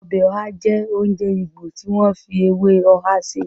Ọbẹ̀ ọhá jẹ́ oúnjẹ Ìgbò tí wọ́n fi ewé ọhá sè